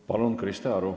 Palun, Krista Aru!